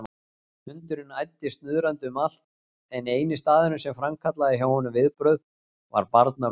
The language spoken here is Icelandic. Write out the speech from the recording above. Hundurinn æddi snuðrandi um allt en eini staðurinn sem framkallaði hjá honum viðbrögð var barnarúmið.